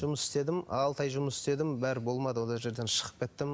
жұмыс істедім алты ай жұмыс істедім бәрі болмады ол жерден шығып кеттім